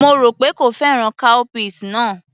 Mo rò pé kò fẹ́ràn cowpeas náà